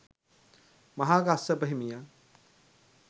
මහා කස්සප හිමියන්